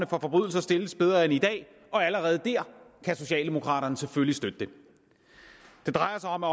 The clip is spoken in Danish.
forbrydelser stilles bedre end i dag og allerede dér kan socialdemokraterne selvfølgelig støtte dem det drejer sig om at